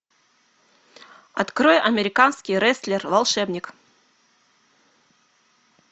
открой американский рестлер волшебник